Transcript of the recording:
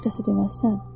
Heç kəsə deməzsən?